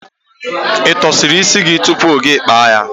Ị tọsịrị isi gị tupu gị kpa ya?